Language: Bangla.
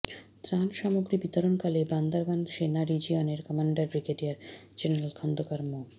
ত্রাণ সামগ্রী বিতরণকালে বান্দরবান সেনা রিজিয়নের কমান্ডার ব্রিগেডিয়ার জেনারেল খন্দকার মো